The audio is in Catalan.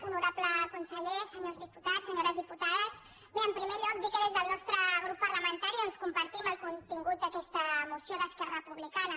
honorable conseller senyors di·putats senyores diputades bé en primer lloc dir que des del nostre grup parlamentari doncs compartim el contingut d’aquesta moció d’esquerra republicana